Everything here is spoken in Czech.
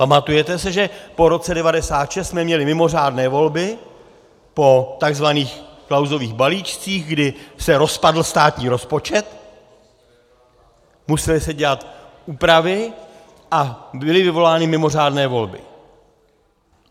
Pamatujete se, že po roce 1996 jsme měli mimořádné volby po tzv. Klausových balíčcích, kdy se rozpadl státní rozpočet, musely se dělat úpravy a byly vyvolány mimořádné volby.